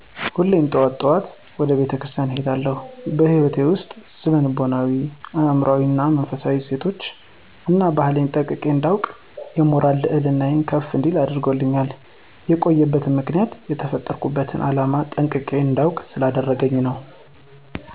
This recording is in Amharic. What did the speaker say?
ሁሌም ጠዋት ጠዋት ወደ ቤተ ክርስቲያን እሄዳለሁ። በህይወቴ ውስጥ ስነ ልቦናዊ አእምሮአዊ እና መንፈሳው እሴት እና ባህሌን ጠንቅቄ እንዳውቅ የሞራል ልዕልናየ ከፍ እንዲል አድርጎኛል። የቆየበት ምክንያት የተፈጠርሁበትን ዓላም ጠንቅቄ እንዳውቅ ስላደረገኝ ነው።